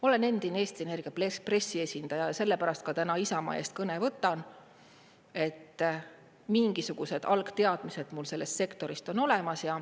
Olen endine Eesti Energia pressiesindaja, sellepärast ka täna Isamaa eest kõne võtan, mingisugused algteadmised mul sellest sektorist on olemas.